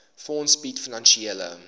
fonds bied finansiële